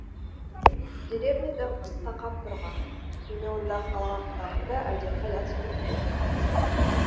деревняда қыс қақап тұрған және онда қалаға қарағанда әлдеқайда суық болатын